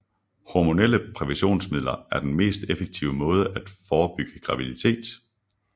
Hormonelle præventionsmidler er den mest effektive måde at forebygge graviditet